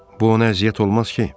Bu ona əziyyət olmaz ki?